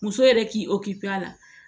Muso yɛrɛ k'i a la